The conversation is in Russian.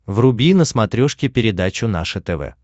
вруби на смотрешке передачу наше тв